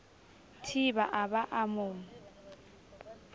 thiba a ba a mo